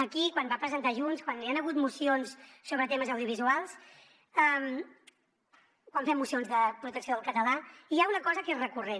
aquí quan ho va presentar junts quan hi han hagut mocions sobre temes audiovisuals quan fem mocions de protecció del català hi ha una cosa que és recurrent